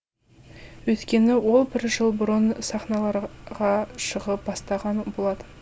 өйткені ол бір жыл бұрын сахналарға шығып бастаған болатын